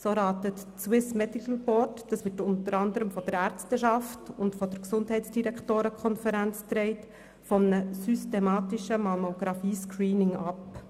So rät das Swiss Medical Board, das unter anderem von der Ärzteschaft und der Gesundheitsdirektorenkonferenz getragen wird, von einem systematischen Mammographie-Screening ab.